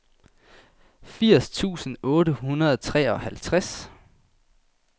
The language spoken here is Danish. firs tusind otte hundrede og treoghalvtreds